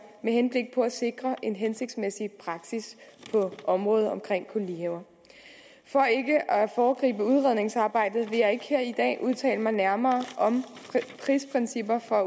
med henblik på at sikre en hensigtsmæssig praksis på området kolonihaver for ikke at foregribe udredningsarbejdet vil jeg ikke her i dag udtale mig nærmere om prisprincipper for